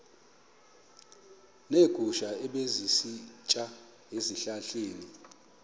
neegusha ebezisitya ezihlahleni